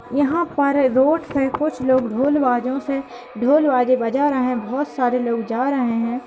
यहां पर रोड में कुछ लोग ढोल बाजे से ढोल बाजे बजा रहे हैं बहोत से लोग जा रहे हैं।